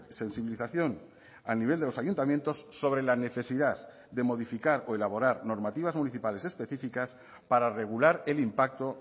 sensibilización a nivel de los ayuntamientos sobre la necesidad de modificar o elaborar normativas municipales específicas para regular el impacto